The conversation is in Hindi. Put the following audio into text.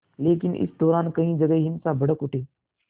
लेकिन इस दौरान कई जगह हिंसा भड़क उठी